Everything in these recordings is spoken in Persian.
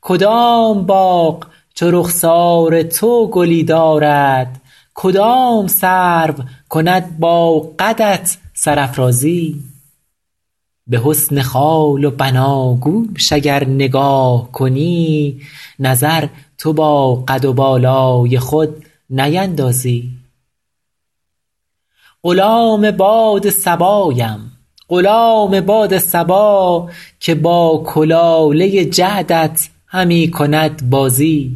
کدام باغ چو رخسار تو گلی دارد کدام سرو کند با قدت سرافرازی به حسن خال و بناگوش اگر نگاه کنی نظر تو با قد و بالای خود نیندازی غلام باد صبایم غلام باد صبا که با کلاله جعدت همی کند بازی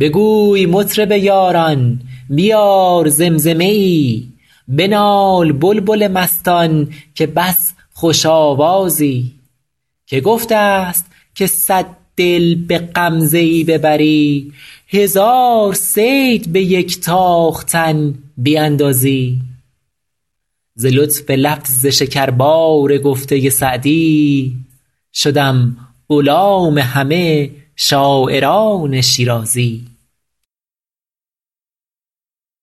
بگوی مطرب یاران بیار زمزمه ای بنال بلبل مستان که بس خوش آوازی که گفته است که صد دل به غمزه ای ببری هزار صید به یک تاختن بیندازی ز لطف لفظ شکربار گفته سعدی شدم غلام همه شاعران شیرازی